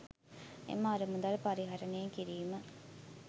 එම අරමුදල් පරිහරණය කිරීම